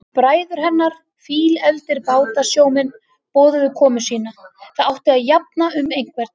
Bræður hennar, fílefldir bátasjómenn, boðuðu komu sína, það átti að jafna um einhvern.